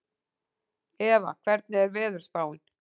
Eva, hvernig er veðurspáin?